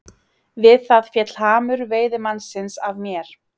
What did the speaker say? Við það féll hamur veiðimannsins af mér.